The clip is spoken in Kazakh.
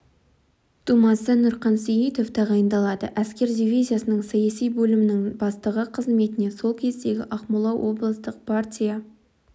тумасы нұрқан сейітов тағайындалады әскер дивизиясының саяси бөлімінің бастығы қызметіне сол кездегі ақмола облыстық партия